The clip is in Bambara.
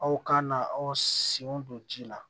Aw kan ka aw senw don ji la